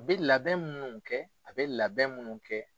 U bɛ labɛn munnu kɛ, a bɛ labɛn munnu kɛ.